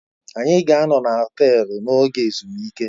Anyị ga-anọ na họtelu n'oge ezumike.